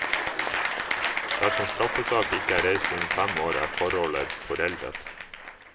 Dersom straffesak ikke er reist innen fem år, er forholdet foreldet.